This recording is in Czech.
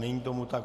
Není tomu tak.